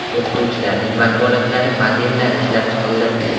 O‘qituvchilarning vakolatlari modellari ishlab chiqildi.